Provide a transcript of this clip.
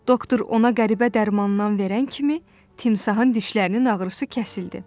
Doktor ona qəribə dərmandan verən kimi timsahın dişlərinin ağrısı kəsildi.